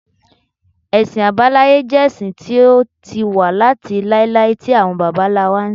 Ẹ̀sìn àbáláyé jẹ́ ẹ̀sìn tó ti wà láti láíláí tí àwọn bàbá ńlá wa ń sìn